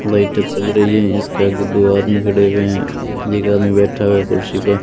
बैठक चल रही है इसके आगे दो आदमी खड़े हुए हैं एक आदमी बैठा हुआ है कुर्सी पे--